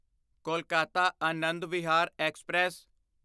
Kolkata Anand Vihar express